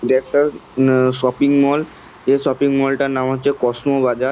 দুই একটা উম ম শপিং মল যে শপিং মল -টার নাম হচ্ছে কসমো বাজার।